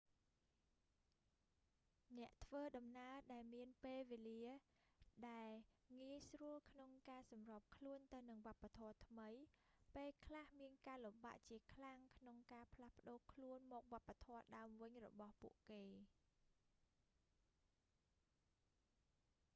អ្នកធ្វើដំណើរដែលមានពេលវេលាដែលងាយស្រួលក្នុងការសម្របខ្លួនទៅនឹងវប្បធម៌ថ្មី ពេលខ្លះមានការលំបាកជាខ្លាំងក្នុងការផ្លាស់ប្តូរខ្លួនមកវប្បធម៌ដើមវិញរបស់ពួកគេ